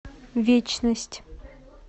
вечность